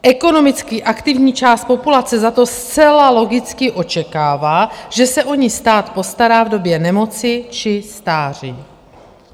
Ekonomicky aktivní část populace za to zcela logicky očekává, že se o ni stát postará v době nemoci či stáří.